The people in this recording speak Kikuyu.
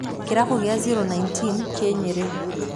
Kĩrabu gĩa Zero19 kĩ nyeri.